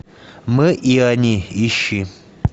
мы и они ищи